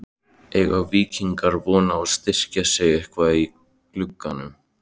Eiga Víkingar von á að styrkja sig eitthvað í glugganum?